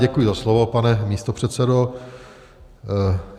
Děkuji za slovo, pane místopředsedo.